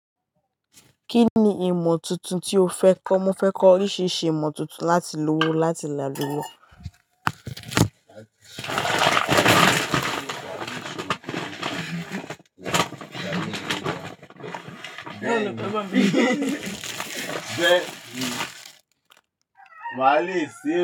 Kí ni ìmọ̀ tuntun tí o fẹ́ kọ́? Mo fẹ́ kọ́ oríṣiríṣi ìmọ̀ tuntun láti lówó láti làlùyo.